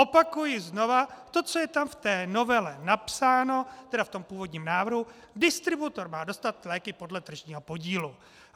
Opakuji znova: to, co je tam v té novele napsáno, tedy v tom původním návrhu, distributor má dostat léky podle tržního podílu.